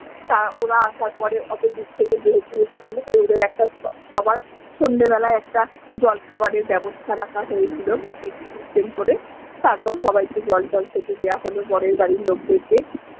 ওরা আসার পরে অতো দূর থেকে যেহেতু এসেছিলো তাই ওদের একটা সবার সন্ধ্যে বেলায় একটা জলখাবারের বেবস্থা রাখা হয়েছিলো প্যাকেট সিস্টেম করে তারপর সবাইকে জল টল খেতে দেওয়া হলো বরের বাড়ির লোক দেরকে।